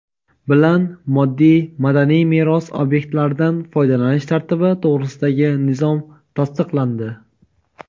bilan Moddiy madaniy meros obyektlaridan foydalanish tartibi to‘g‘risidagi nizom tasdiqlandi.